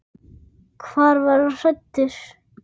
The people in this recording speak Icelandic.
Hvar var hann fæddur?